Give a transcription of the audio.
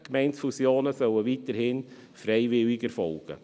Gemeindefusionen sollen weiterhin freiwillig erfolgen.